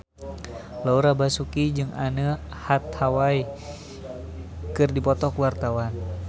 Laura Basuki jeung Anne Hathaway keur dipoto ku wartawan